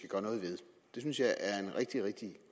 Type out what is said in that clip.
jeg synes jeg er en rigtig rigtig